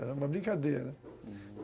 Era uma brincadeira, uhum.